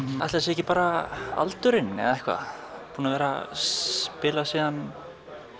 ætli það sé ekki bara aldurinn eða eitthvað búin að vera spila síðan